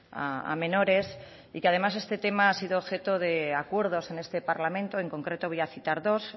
a menores y que además este tema ha sido objeto de acuerdos en este parlamento en concreto voy a citar dos